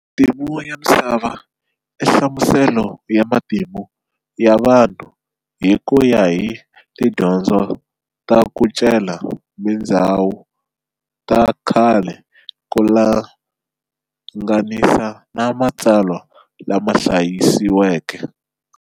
Matimu ya Misava inhlamuselo ya Matimu ya vanhu hi kuya hi tidyondzo ta kucela tindzhawu ta khale kulanganisa na matsalwa lamahlayisiweke.